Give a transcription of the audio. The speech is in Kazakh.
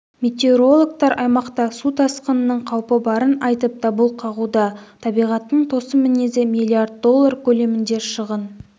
метеорологтар аймақта су тасқынының қаупі барын айтып дабыл қағуда табиғаттың тосын мінезі миллиард доллар көлемінде шығын